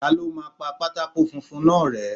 Ta ló máa pa pátákó funfun náà rẹ́.?